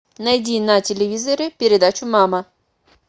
найди на телевизоре передачу мама